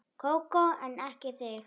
Kókó en ekki þig.